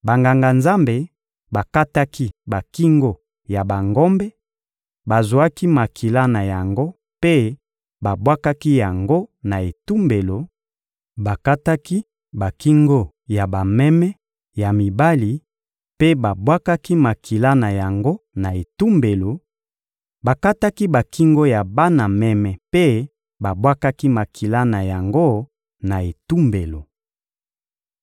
Banganga-Nzambe bakataki bakingo ya bangombe, bazwaki makila na yango mpe babwakaki yango na etumbelo, bakataki bakingo ya bameme ya mibali mpe babwakaki makila na yango na etumbelo, bakataki bakingo ya bana meme mpe babwakaki makila na yango na etumbelo.